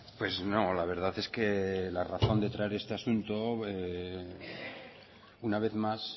pues no la verdad es que la razón de traer este asunto una vez más